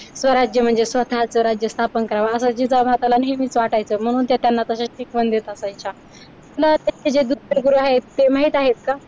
स्वराज्य म्हणजे स्वतःचे राज्य स्थापन करावं असे जिजाऊ मात्यांना नेहमीच वाटायचं म्हणून त्या त्यांना तशा शिकवण देत असायच्या तुला जे त्याचे गुरु आहेत माहित आहे का?